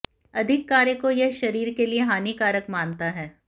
अधिक कार्य को वह शरीर के लिए हानिकारक मानता है